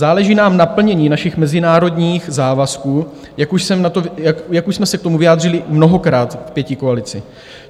Záleží nám na plnění našich mezinárodních závazků, jak už jsme se k tomu vyjádřili mnohokrát v pětikoalici.